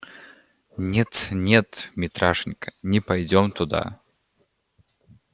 нет-нет митрашенька не пойдём туда